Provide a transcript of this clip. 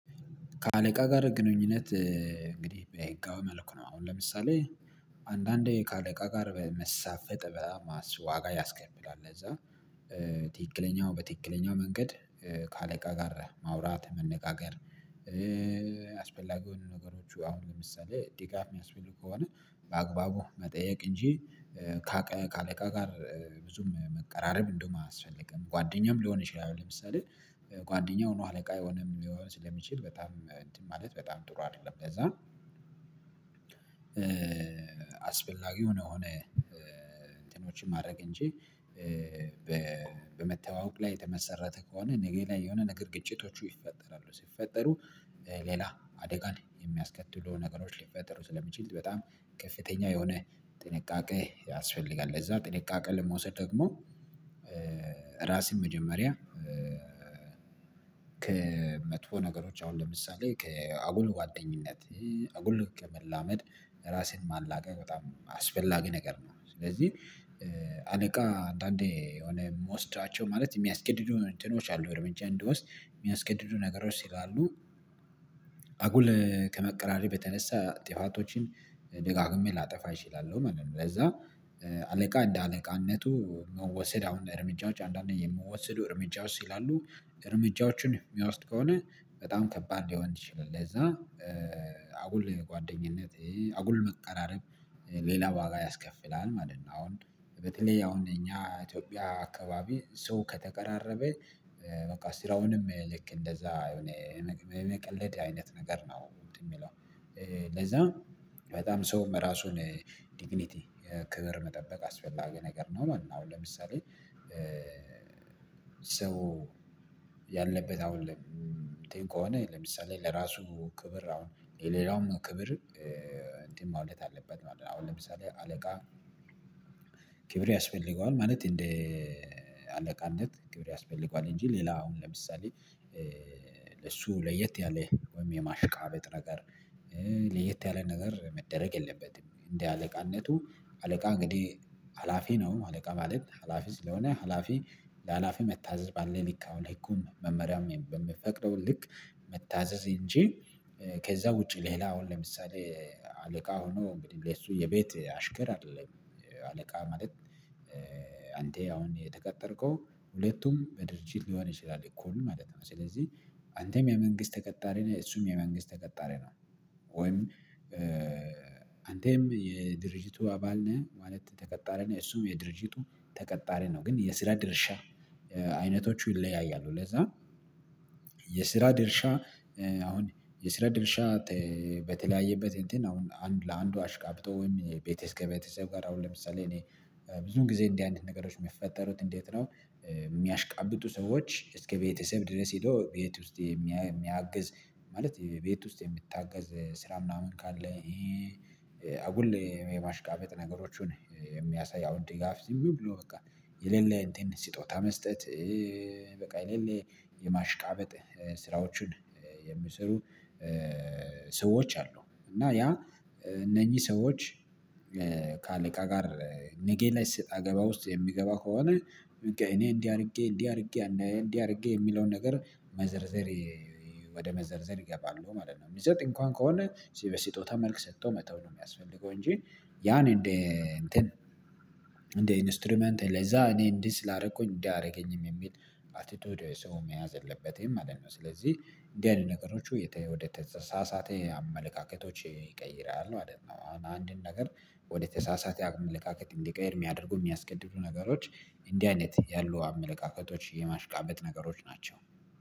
ከአለቃ ጋር ግንኙነት እንግዲህ በህጋዊ መልኩ ነው። አሁን ለምሳሌ አንዳንዴ ከአለቃ ጋር በመሳፈጥ በጣም ማስዋጋ ያስከፍላል ለዛ ትክክለኛው በትክክለኛው መንገድ ከአለቃ ጋር ማውራት መነጋገር። አስፈላጊ የሆኑ ነገሮች አሁን ለምሳሌ ድጋፍ ሚያስፈልጉ ከሆነ በአግባቡ መጠየቅ እንጂ ከአለቃ ጋር ብዙም መቀራረብ እንደውም አያስፈልግም ጓደኛም ልሆን ይችላል። ለምሳሌ ጓደኛው ነው አለቃ የሆነም ሊሆን ስለሚችል በጣም እንትን ማለት በጣም ጥሩ አደለም ለዛ። አስፈላጊ ሆኖ ሆነ እንትኖችን ማድረግ እንጂ በመተዋወቅ ላይ የተመሰረተ ከሆነ ነገ ላይ የሆነ ነገር ግጭቶቹ ይፈጠራሉ ሲፈጠሩ ሌላ አደጋን የሚያስከትሉ ነገሮች ሊፈጠሩ ስለሚችል በጣም ከፍተኛ የሆነ ጥንቃቄ ያስፈልጋል። ለዛ ጥንቃቄ ለመውሰድ ደግሞ ራሴን መጀመሪያ ከመጥፎ ነገሮች አሁን ለምሳሌ ከአጉል ጓደኝነት አጉል ከመላመድ ራስን ማላቀቅ በጣም አስፈላጊ ነገር ነው። ስለዚ አለቃ አንዳንዴ የሆነ ምወስዳቸው ማለት የሚያስገድዱ እንትኖች አሉ እርምጃ እንድወስድ ሚያስገድዱ ነገሮች ስላሉ አጉል ከመቀራረብ የተነሳ ጥፋቶችን ደጋግሜ ላጠፋ እችላለው ማለት ነው። ለዛ አለቃ እንደ አለቃነቱ መወሰድ አሁን እርምጃዎች አንዳንዴ የምወሰዱ እርምጃዎች ስላሉ እርምጃዎችን ሚያወስድ ከሆነ በጣም ከባድ ሊሆን ይችላል። ለዛ አጉል ጓደኝነት አጉል መቀራረብ ሌላ ዋጋ ያስከፍላል ማለት ነው። አሁን በተለይ አሁን እኛ ኢትዮጵያ አካባቢ ሰው ከተቀራረበ በቃ ስራውንም ልክ እንደዛ የሆነ የመቀለድ አይነት ነገር ነው እንትን ሚለው ለዛ በጣም ሰውም ራሱን ዲግኒቲ ክብር መጠበቅ አስፈላጊ ነገር ነው ማለት ነው። አሁን ለምሳሌ ሰው ያለበት አሁን ከሆነ ለምሳሌ ለራሱ ክብር አሁን የሌላውም ክብር እንዲ ማግኘት አለበት ማለት ነው። አሁን ለምሳሌ አለቃ ክብር ያስፈልገዋል ማለት እንደ አለቃነት ክብር ያስፈልገዋል እንጂ ሌላ አሁን ለምሳሌ ለሱ ለየት ያለ ወይም የማሽቃበጥ ነገር ለየት ያለ ነገር መደረግ የለበትም። እንደ አለቃነቱ አለቃ እንግዲ ሀላፊ ነው አለቃ ማለት ሀላፊ ስለሆነ ሀላፊ ለሀላፊ መታዘዝ ባለው ልክ አሁን ህጉን መመሪያውን በምፈቅደው ልክ መታዘዝ እንጂ ከዛ ውጪ ሌላ አሁን ለምሳሌ አለቃ ሆኖ እንግዲ እሱ የቤት አሽከር አደለም። አለቃ ማለት አንተ አሁን የተቀጠርከው ሁለቱም በድርጅት ሊሆን ይችላል እኩል ማለት ነው። ስለዚ አንተም የመንግስት ተቀጣሪ ነህ እሱም የመንግስት ተቀጣሪ ነው ወይም አንተም የድርጅቱ አባል ነህ ማለት ተቀጣሪ ነህ እሱም የድርጅቱ ተቀጣሪ ነው። ግን የስራ ድርሻ አይነቶቹ ይለያያሉ። ለዛ የስራ ድርሻ አሁን የስራ ድርሻ በተለያየበት እንትን አሁን አንድ ለአንዱ አሽቃብጦ ወይም ከቤተሰብ ጋር አሁን ለምሳሌ እኔ ብዙን ጊዜ እንዲ አይነት ነገሮች ሚፈጠሩት እንዴት ነው? ሚያሽቃብጡ ሰዎች እስከ ቤተሰብ ድረስ ሄዶ ቤት ውስጥ የሚያግዝ ማለት ቤት ውስጥ ሚታገዝ ስራ ምናምን ካለ ይሄ አጉል ማሽቃበጥ ነገሮቹን የሚያሳይ አውን ድጋፍ ዝም ብሎ በቃ የሌለ እንቲን ሲጦታ መስጠት በቃ የሌለ የማሽቃበጥ ስራዎቹን የሚሰሩ ሰዎች አሉ። እና ያ እነኚህ ሰዎች ከአለቃ ጋር ነጌላይ ሰጣገባ ውስጥ የሚገባ ከሆነ እኔ እንዲ አርጌ እንዲ አርጌ እንዲ አርጌ የሚለውን ነገር መዘርዘር ወደ መዘርዘር ይገባሉ ማለት ነው። ሚሰጥ እንኳን ከሆነ በሲጦታ መልክ ሰቶ መተው ነው ሚያስፈልገው እንጂ ያን እንደ እንትን እንደ ኢንስትሩመንት ለዛ እኔ እንዲ ስላረኩኝ እንዲያ አያረገኝም የሚል አቲቲዩድ ሰው መያዝ የለበትም ማለት ነው። ስለዚ እንዲ አይነት ነገሮች ወደ ተሳሳተ አመለካከቶች ይቀይራል ማለት አሁን አንድን ነገር ወደተሳሳተ አመለካከት እንዲቀየር ሚያደርጉ ሚያስገድዱ ነገሮች እንዲህ አይነት ያሉ አመለካከቶች የማሽቃበጥ ነገሮች ናቸው